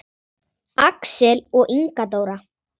Axel og Inga Dóra.